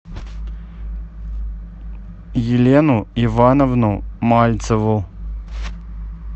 елену ивановну мальцеву